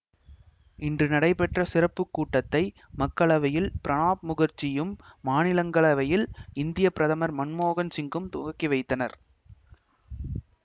இன்று நடைபெற்ற சிறப்புக்கூட்டத்தை மக்களவையில் பிரணாப் முகர்ஜியும் மாநிலங்கவையில் இந்திய பிரதமர் மன்மோகன் சிங்கும் துவக்கிவைத்தனர்